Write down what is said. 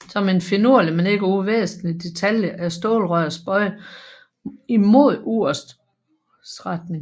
Som en finurlig men ikke uvæsentlig detalje er stålrøret bøjet imod urets retning